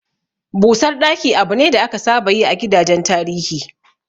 Busar ɗaki abu ne da aka saba yi a gidajen tarihi.